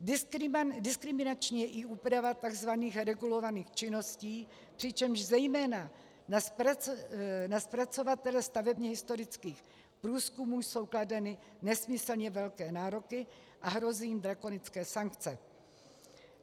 Diskriminační je i úprava tzv. regulovaných činností, přičemž zejména na zpracovatele stavebně historických průzkumů jsou kladeny nesmyslně velké nároky a hrozí jim drakonické sankce.